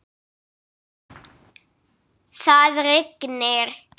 Það rignir.